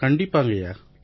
கண்டிப்பா ஐயா